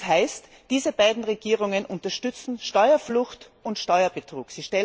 Das heißt, diese beiden Regierungen unterstützen Steuerflucht und Steuerbetrug.